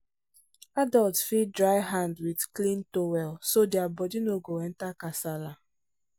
adults fit dry hand with clean towel so their body no go enter kasala.